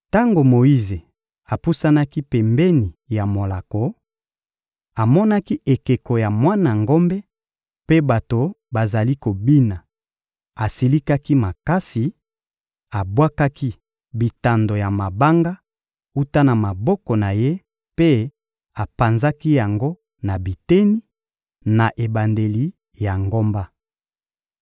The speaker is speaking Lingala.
Tango Moyize apusanaki pembeni ya molako, amonaki ekeko ya mwana ngombe mpe bato bazali kobina; asilikaki makasi, abwakaki bitando ya mabanga wuta na maboko na ye mpe apanzaki yango na biteni, na ebandeli ya ngomba.